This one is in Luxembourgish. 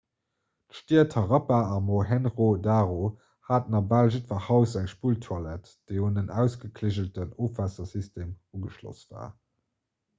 d'stied harappa a mohenjo-daro haten a bal jiddwer haus eng spulltoilett déi un en ausgekliggelten ofwaassersystem ugeschloss war